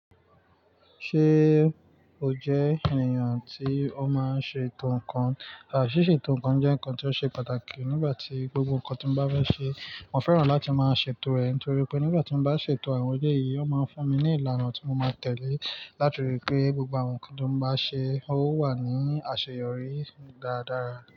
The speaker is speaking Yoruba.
Ṣé o jẹ́ ènìyàn tí ó máa ń ṣe ètò ǹkan? Ṣíṣe ètò ǹkan jẹ́ ǹkan tí ó ṣe pàtàkì nígbà tí gbogbo ǹkan tí mo bá fẹ́ ṣe. Mo fẹ́ràn láti máa ṣe ètò rẹ̀ nítorí pé nígbà tí mo bá ṣe ètò àwọn ele yìí, ó máa ń fún mi ní ìlànà tí mo máa tẹ̀lé láti rí i pé gbogbo àwọn ǹkan tó bá ṣe ó wà ní àṣeyọrí dáradára.